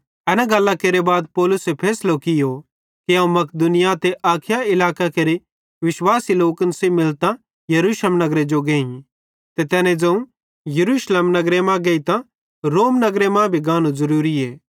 एन गल्लां केरे बाद पौलुसे फैसलो कियो कि अवं मकिदुनिया ते अखाया इलाकां केरे विश्वासी लोकन सेइं मिलतां यरूशलेम नगरे जो गेइ ते तै ज़ोवं यरूशलेम नगर मां गेइतां रोम नगर भी मां गानू भी ज़रूरीए